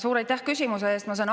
Suur aitäh küsimuse eest!